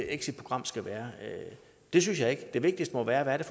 exitprogram skal være det synes jeg ikke det vigtigste må være hvad det